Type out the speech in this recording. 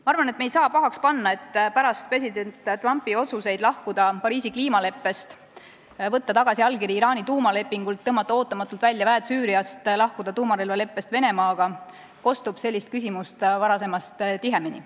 Ma arvan, et me ei saa pahaks panna, et pärast president Trumpi otsuseid lahkuda Pariisi kliimaleppest, võtta tagasi allkiri Iraani tuumalepingult, tõmmata ootamatult välja väed Süüriast ja lahkuda tuumarelvaleppest Venemaaga kostab sellist küsimust varasemast tihemini.